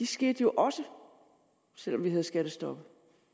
skete jo også selv om vi havde skattestoppet